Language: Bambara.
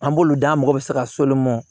An b'olu da mɔgɔ bɛ se ka so mɔn